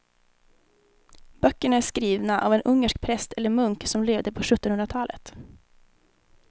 Böckerna är skrivna av en ungersk präst eller munk som levde på sjuttonhundratalet.